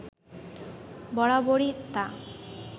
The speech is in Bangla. বরাবরই তা